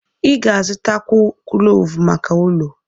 Ị ga-azụtakwu kloovu maka ụlọ.